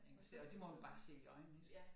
Engelsk og det må man bare se i øjnene ik